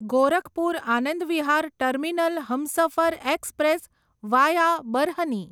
Gorakhpur Anand Vihar terminal Humsafar express via Barhni